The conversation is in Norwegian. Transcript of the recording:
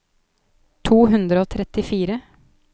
to hundre og trettifire